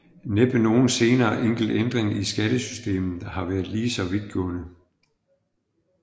Næppe nogen senere enkelt ændring i skattesystemet har været lige så vidtgående